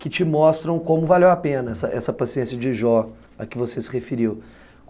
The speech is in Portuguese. que te mostram como valeu a pena essa essa paciência de Jó, a que você se referiu.